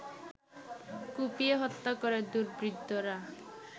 কুপিয়ে হত্যা করে দুর্বৃত্তরা